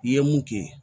I ye mun kɛ